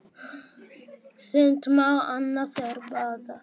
Sumt má, annað er bannað.